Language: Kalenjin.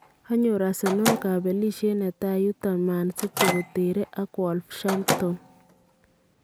Kanyoor Arsenal kabelisheet netai yuuto ManCity keteree ak Wolveshampton